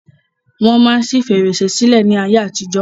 Wọ́n máa ń ṣi fèrèsé sílẹ̀ ni ayé àtijọ́.